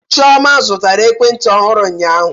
Chioma zụtara ekwentị ọhụrụ ụnyaahụ